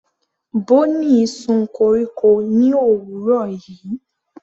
Bonny sun koríko ní òwúrọ̀ yìí.